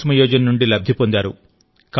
కుసుమ్ యోజన నుండి లబ్ధి పొందారు